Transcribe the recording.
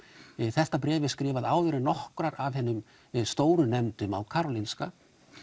þetta bréf er skrifað áður en nokkrar af hinum stóru nefndum á Karolinska